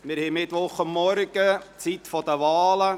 Es ist Mittwochmorgen, Zeit für die Wahlen.